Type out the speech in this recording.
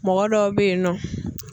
Mɔgɔ dɔw bɛ yen nɔ.